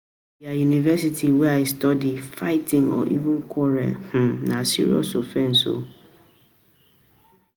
for di university wey I study, fighting or even quarreling na serious offense